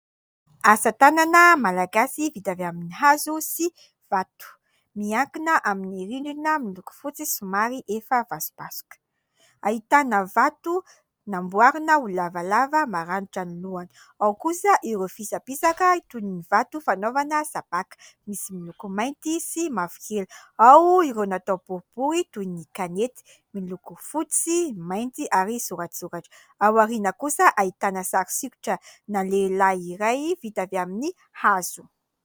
Asa tanana malagasy vita avy amin'ny hazo sy vato. Miankina amin'ny rindrina miloko fotsy somary efa vasobasoka. Ahitana vato namboarina ho lavalava, maranitra ny lohany. Ao kosa ireo fisapisaka toy ny vato fanaovana sabàka, misy miloko mainty sy mavokely. Ao ireo natao boribory toy ny kanety miloko fotsy, mainty ary soratsoratra. Ao aoriana kosa ahitana sary sikotra ana lehilahy iray vita avy amin'ny hazo.